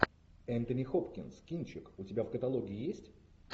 энтони хопкинс кинчик у тебя в каталоге есть